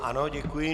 Ano, děkuji.